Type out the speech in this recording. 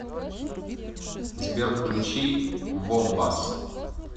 сбер включи вомбас